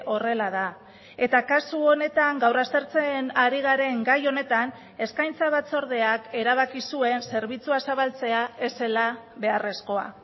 horrela da eta kasu honetan gaur aztertzen ari garen gai honetan eskaintza batzordeak erabaki zuen zerbitzua zabaltzea ez zela beharrezkoa